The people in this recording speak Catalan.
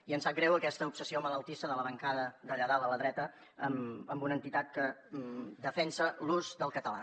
i em sap greu aquesta obsessió malaltissa de la bancada d’allà dalt a la dreta amb una entitat que defensa l’ús del català